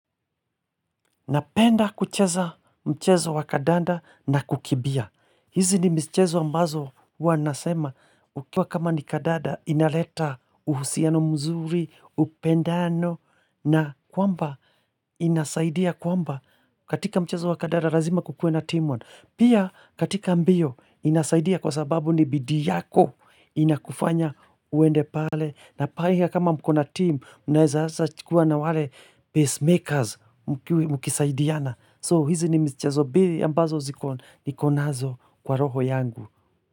Napenda kucheza mchezo wa kandanda na kukimbia. Hizi ni michezo ambazo wanasema ukiwa kama ni kandanda inaleta uhusiano mzuri, upendano na kwamba inasaidia kwamba katika mchezo wa kadanda lazima kukue na team one. Pia katika mbio inasaidia kwa sababu ni bidii yako inakufanya uende pale. Na pale kama mkona team, mnaeza hasa chukua na wale pacemakers mkisaidiana. So hizi ni michezo mbili ambazo zikon, niko nazo kwa roho yangu.